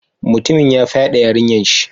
Mutumin ya fyade yarinyan shi.